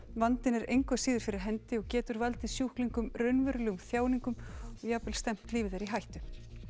vandinn er engu að síður fyrir hendi og getur valdið sjúklingum raunverulegum þjáningum og jafnvel stefnt lífi þeirra í hættu